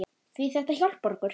Því þetta hjálpar okkur.